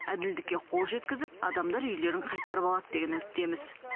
әділдікке қол жеткізіп адамдар үйлерін қайтарып алады деген үміттеміз